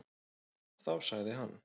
Þá sagði hann: